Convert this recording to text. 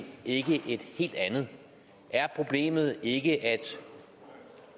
ikke et helt andet er problemet ikke at